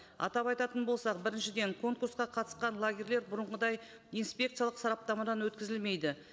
атап айтатын болсақ біріншіден конкурсқа қатысқан лагерлер бұрынғыдай инспекциялық сараптамадан өткізілмейді